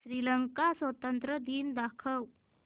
श्रीलंका स्वातंत्र्य दिन दाखव